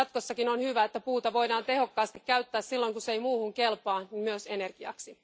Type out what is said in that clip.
Jatkossakin on hyvä, että puuta voidaan tehokkaasti käyttää silloin kun se ei muuhun kelpaa myös energiaksi.